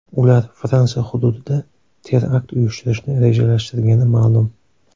Ular Fransiya hududida terakt uyushtirishni rejalashtirgani ma’lum.